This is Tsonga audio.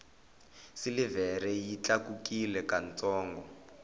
silivhere yi tlakukile ka ntsongo